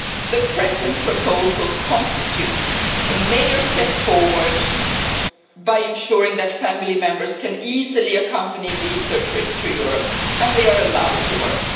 The present proposals constitute a major step forward by ensuring that family members can easily accompany researchers to Europe and they are allowed to work.